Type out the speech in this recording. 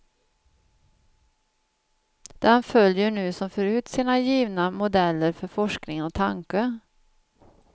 Den följer nu som förut sina givna modeller för forskning och tanke.